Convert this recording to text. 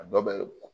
A dɔ bɛ